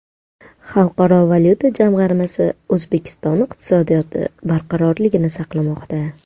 Xalqaro valyuta jamg‘armasi: O‘zbekiston iqtisodiyoti barqarorlikni saqlamoqda.